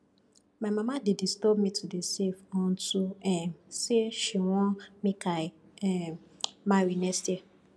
my mama dey disturb me to dey save unto um say she wan make i um marry next year